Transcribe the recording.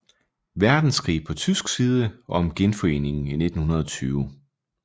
Verdenskrig på tysk side og om Genforeningen i 1920